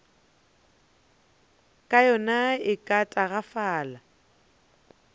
ya yona e ka tagafala